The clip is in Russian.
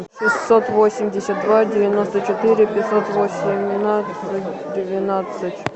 шестьсот восемьдесят два девяносто четыре пятьсот восемнадцать двенадцать